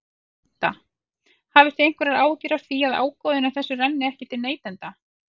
Linda: Hafið þið einhverjar áhyggjur af því að ágóðinn af þessu renni ekki til neytenda?